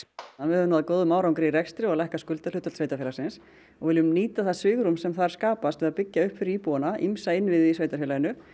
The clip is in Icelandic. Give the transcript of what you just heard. við höfum náð góðum árangri í rekstri og lækkað skuldahlutfall sveitarfélagsins og viljum nýta það svigrúm sem þar skapast til að byggja upp fyrir íbúana ýmsa innviði í sveitarfélaginu